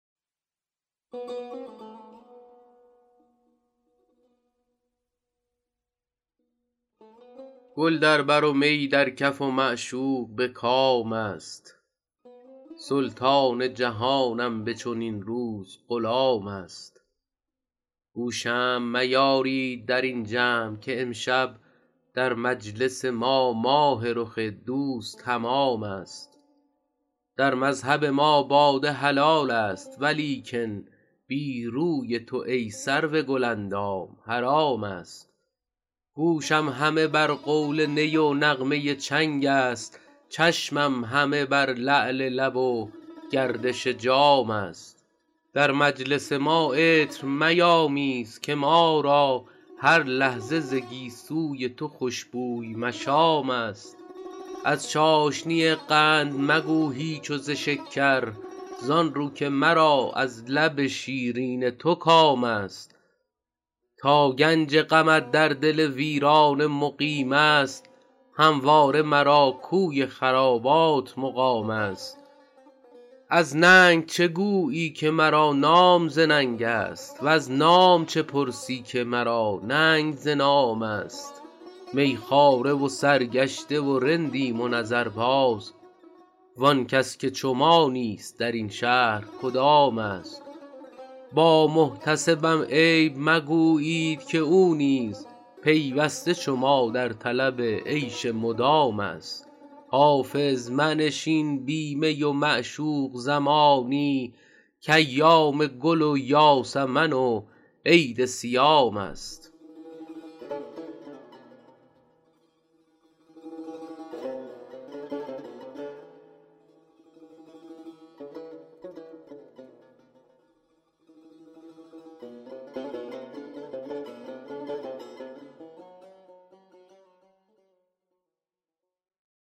گل در بر و می در کف و معشوق به کام است سلطان جهانم به چنین روز غلام است گو شمع میارید در این جمع که امشب در مجلس ما ماه رخ دوست تمام است در مذهب ما باده حلال است ولیکن بی روی تو ای سرو گل اندام حرام است گوشم همه بر قول نی و نغمه چنگ است چشمم همه بر لعل لب و گردش جام است در مجلس ما عطر میامیز که ما را هر لحظه ز گیسو ی تو خوش بوی مشام است از چاشنی قند مگو هیچ و ز شکر زآن رو که مرا از لب شیرین تو کام است تا گنج غمت در دل ویرانه مقیم است همواره مرا کوی خرابات مقام است از ننگ چه گویی که مرا نام ز ننگ است وز نام چه پرسی که مرا ننگ ز نام است می خواره و سرگشته و رندیم و نظرباز وآن کس که چو ما نیست در این شهر کدام است با محتسبم عیب مگویید که او نیز پیوسته چو ما در طلب عیش مدام است حافظ منشین بی می و معشوق زمانی کایام گل و یاسمن و عید صیام است